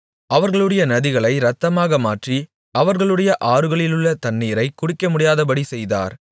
அவர்களுடைய நதிகளை இரத்தமாக மாற்றி அவர்களுடைய ஆறுகளிலுள்ள தண்ணீரைக் குடிக்கமுடியாதபடி செய்தார்